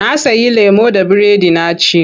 Na sayi lemo da biredi na ci.